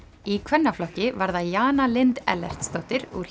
í kvennaflokki var það Jana Lind Ellertsdóttir úr